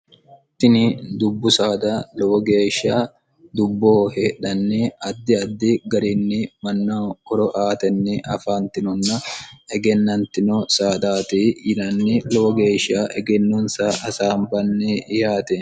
tini dubbu saada lowo geeshsha dubboo heedhanni addi addi garinni manna koro aatenni afaantinonna egennantino saadaati yinanni lowo geeshsha egennonsa hasaambanni yihaate